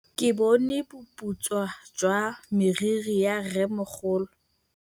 Ke bone boputswa jwa meriri ya rrêmogolo.